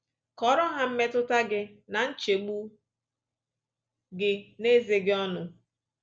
Kọọrọ ha mmetụta gị na nchegbu gị n’ezoghị ọnụ